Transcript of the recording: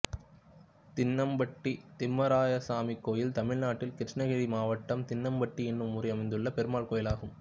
தின்னப்பட்டி திம்மராயசாமி கோயில் தமிழ்நாட்டில் கிருஷ்ணகிரி மாவட்டம் தின்னப்பட்டி என்னும் ஊரில் அமைந்துள்ள பெருமாள் கோயிலாகும்